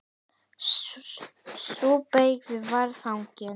Sú beyging var þannig